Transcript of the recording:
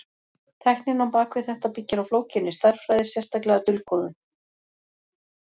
Tæknin á bak við þetta byggir á flókinni stærðfræði, sérstaklega dulkóðun.